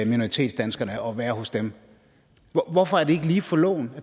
minoritetsdanskerne og være hos dem hvorfor er det ikke lige for loven